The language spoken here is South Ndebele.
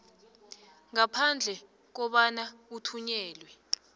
ngaphandle kobana uthunyelelwe